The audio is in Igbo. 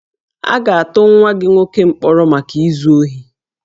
A ga-atụ nwa gị nwoke mkpọrọ maka izu ohi